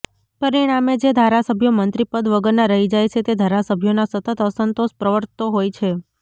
પરિણામે જે ધારાસભ્યો મંત્રીપદ વગરનાં રહી જાય છે તે ધારાસભ્યોમાં સતત અસંતોષ પ્રવર્તતો હોય છે